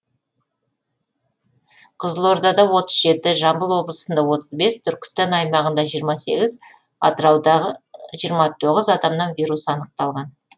қызылордада отыз жеті жамбыл облысында отыз бес түркістан аймағында жиырма сегіз атырауда жиырма тоғыз адамнан вирус анықталған